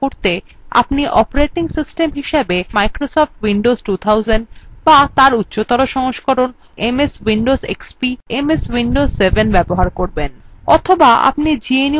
আপনি operating system হিসাবে হয় microsoft windows 2000 বা তার উচ্চতর সংস্করণ অর্থাৎ ms windows xp বা ms windows 7 ব্যবহার করবেন অথবা আপনি gnu/linux ব্যবহার করতে পারেন